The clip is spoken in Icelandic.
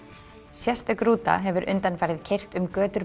sérstök rúta hefur undanfarið keyrt um götur